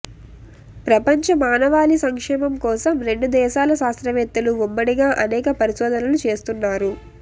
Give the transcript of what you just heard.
ప్రపంచ మానవాళి సంక్షేమం కోసం రెండు దేశాల శాస్త్రవేత్తలు ఉమ్మడిగా అనేక పరిశోధనలు చేస్తున్నారు